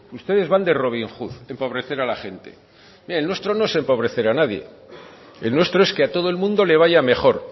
ustedes van de robin hood empobrecer a la gente mire el nuestro no es empobrecer a nadie el nuestro es que a todo el mundo le vaya mejor